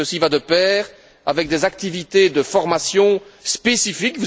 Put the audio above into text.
Ceci va de pair avec des activités de formation spécifique.